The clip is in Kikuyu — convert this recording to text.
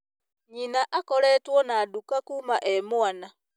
Nyina akoretwo na nduka kuma e mwana